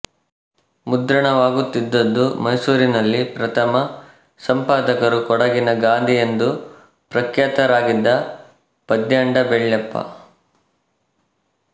ಮುದ್ರಣವಾಗುತ್ತಿದ್ದದ್ದು ಮೈಸೂರಿನಲ್ಲಿ ಪ್ರಥಮ ಸಂಪಾದಕರು ಕೊಡಗಿನ ಗಾಂಧಿ ಎಂದು ಪ್ರಖ್ಯಾತರಾಗಿದ್ದ ಪದ್ಯಂಡ ಬೆಳ್ಯಪ್ಪ